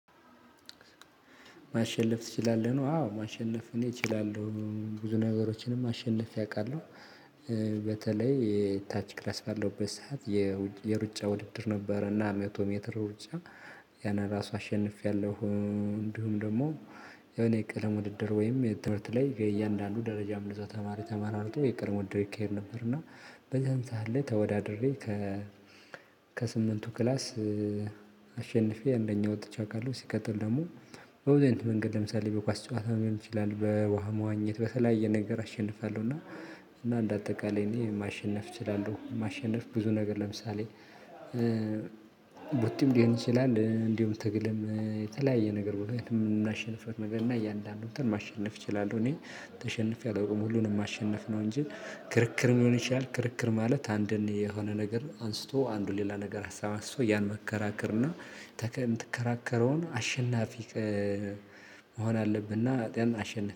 ማሸለፍ ትችላለህ ነው። አዎ ማሸለፍ እኔ እችላለሁ ብዙ ነገሮችንም አሸንፌ ያውቃሉው። በተለይ የታች ክላስ ባለውበት ሰዓት። የሩጫ ውድድር ነበረና መቶ ሜትር ውጪ። ያን ራሱ አሸንፌያለሁ እንዲሁም ደግሞ የኔ ቀለም ውድድር ወይም የትምህርት ላይ ከእያንዳንዱ ደረጃ ብዙ ተማሪ ተመራርጦ የቀድሞ ውድድር ይካሄድ ነበር። እና። በዚህም ሰዓት ላይ ተወዳድሬ ከ ከስምንቱ ክላስ አሸንፌ አንደኛው ወጥቼ አውቃለሁ። ሲቀጥል ደግሞ። በበብዙ አይነት መንገድ ለምሳሌ በኳስ ጨዋታ መሆን ይችላል በውሃ መዋኘት በተለያየ ነገር አሸንፋለሁ እና። እና እንደ አጠቃላይ እኔ ማሸነፍ እችላለሁ። ማሸነፍ ብዙ ነገር ለምሳሌ። ቡጢም ሊሆን ይችላል እንዲሁ ትግልም የተለያየ ነገር ብሎ የምናሸንፍረው ነገር እና እያንዳንድ እንዳለ እንትን ማሸነፍ እችላለሁ። እኔ ተሸንፌ አላውቅም ሁሉንም ማሸነፍ ነው እንጂ ክርክር ሊሚሆን ይሻል። ክርክር ማለት አንድን የሆነ ነገር አንስቶ አንዱ ሌላ ነገር አሳብ አንስቶ ያን መከራከርና የምትከራከረውን አሸናፊ መሆን አለብና።